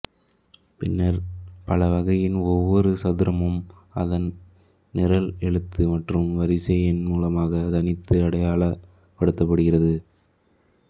பின்னர் பலகையின் ஒவ்வொரு சதுரமும் அதன் நிரல் எழுத்து மற்றும் வரிசை எண் மூலமாக தனித்து அடையாளப்படுத்தப்படுகிறது